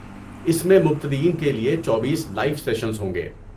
اس میں مبتدئین کے لیے چوبیس لائیو سیشنز ہوں گے